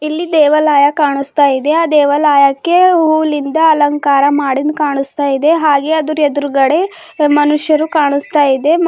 ಇಲ್ಲಿ ದೇವಾಲಯ ಕಾಣಿಸ್ತಾ ಇದೆ ಆ ದೇವಾಲಯಕ್ಕೆ ಹೂಲಿಂದ ಅಲಂಕಾರ ಮಾಡಿಂದ್ ಕಾಣಿಸ್ತಾ ಇದೆ ಹಾಗೆ ಅದರ್ ಎದುರುಗಡೆ ಮನುಷ್ಯರು ಕಾಣಿಸ್ತಾ ಇದೆ.